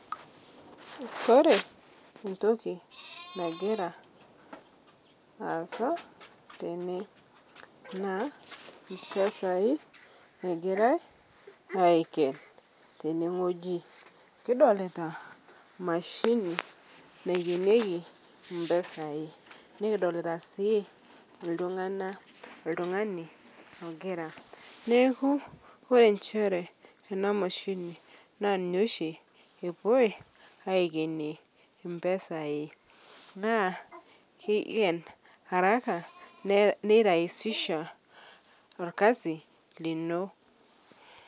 Ore entoi nagira aasa tene naaa impesai egirai aiken tenewueji. Kidolita imashini naikenieki impesai. Nikidolita sii iltungana, iltungani ogira. Neaku ore inchere ena emashini naa ninye oshi epoi aikenie impesai naa keiken araka, neiraisisha olkasi lino.